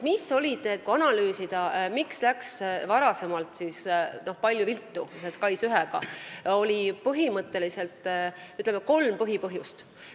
Kui analüüsida, miks läks varem SKAIS1-ga tõesti nii palju viltu, siis oli kolm põhipõhjust.